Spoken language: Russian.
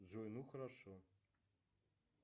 джой ну хорошо